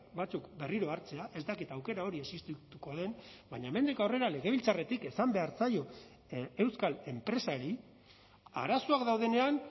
batzuk berriro hartzea ez dakit aukera hori existituko den baina hemendik aurrera legebiltzarretik esan behar zaio euskal enpresari arazoak daudenean